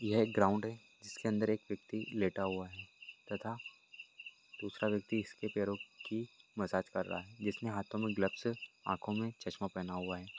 यह एक ग्राउन्ड है जिसके अंदर एक व्यक्ति लेटा हुआ है तथा दूसरा व्यक्ति इसके पेरो की मसाज कर रहा है जिसने हाथों मे ग्लवस आँखों मे चश्मा पहना हुआ है।